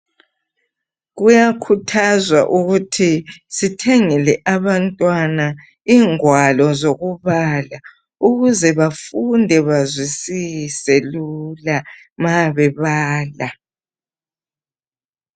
Kuyakhuthazwa ukuthi sithengele abantwana ingwalo zokubala ukuze bafunde bazwisise lula ma bebala.